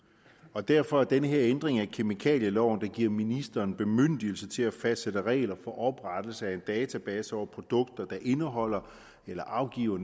og derfor er den her ændring af kemikalieloven der giver ministeren bemyndigelse til at fastsætte regler for oprettelse af en database over produkter der indeholder eller afgiver